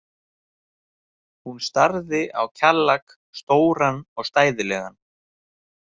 Hún starði á Kjallak, stóran og stæðilegan.